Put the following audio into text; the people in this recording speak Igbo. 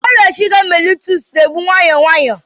Ọrịa shuga mellitus na-egbu nwayọọ nwayọọ.